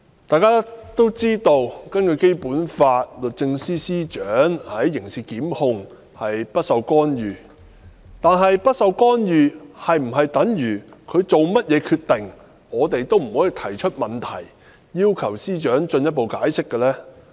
大家都知道，根據《基本法》，律政司司長的刑事檢控工作不受干預，但不受干預是否等於我們不能夠對司長的任何決定提出問題，或要求司長作進一步解釋呢？